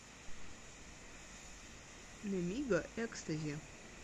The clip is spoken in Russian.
немига экстази